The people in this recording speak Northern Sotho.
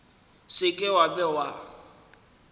se ke wa be wa